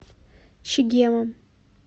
чегемом